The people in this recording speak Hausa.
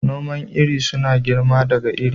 Noman iri suna girma daga iri.